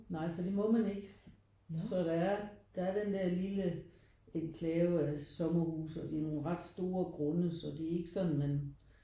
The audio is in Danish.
Nej for det må man ikke. Så der er der er den der lille enklave af sommerhuse og det er nogle ret store grunde så det er ikke sådan man